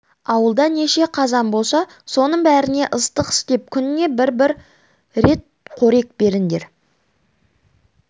ауылда неше қазан болса соның бәріне ыстық істеп күніне бір-бір рет қорек беріңдер